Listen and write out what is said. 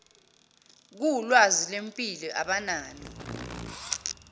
kuwulwazi lwempilo abanalo